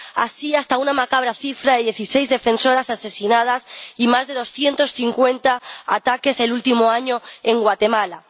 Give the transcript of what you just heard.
Así, hasta una macabra cifra de dieciséis defensoras asesinadas y más de doscientos cincuenta ataques el último año en Guatemala.